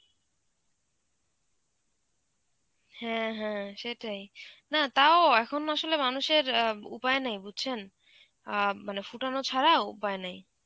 হ্যাঁ হ্যাঁ সেটাই, না তাও এখন আসলে মানুষের অ্যাঁ উপায় নেই বুঝছেন. অ্যাঁ মানে ফোটানো ছাড়া উপায় নেই.